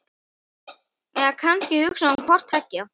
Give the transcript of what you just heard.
En kannski hugsaði hún hvort tveggja.